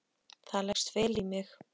Það leggst vel í mig.